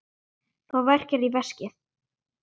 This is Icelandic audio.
Þá verkjar í veskið.